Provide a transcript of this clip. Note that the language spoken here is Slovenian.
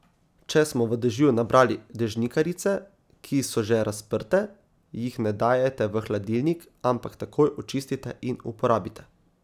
Če smo v dežju nabrali dežnikarice, ki so že razprte, jih ne dajajte v hladilnik, ampak takoj očistite in uporabite.